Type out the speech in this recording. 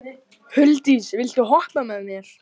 Huldís, viltu hoppa með mér?